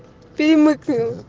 фильмы